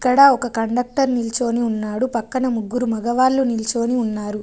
ఇక్కడ ఒక కండక్టర్ నిల్చోని ఉన్నాడు పక్కన ముగ్గురు మగవాళ్ళు నిల్చొని ఉన్నారు.